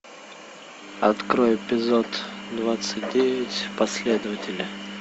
открой эпизод двадцать девять последователи